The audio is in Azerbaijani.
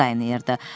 Həyat qaynayırdı.